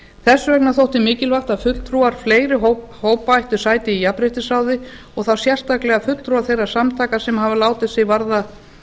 þess vegna þótti mikilvægt að fulltrúar fleiri hópa ættu sæti í jafnréttisráði og þá sérstaklega fulltrúar þeirra samtaka sem hafa látið sig varða